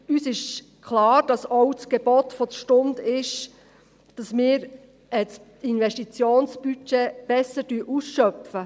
Uns ist klar, dass das Gebot der Stunde auch ist, dass wir das Investitionsbudget besser ausschöpfen.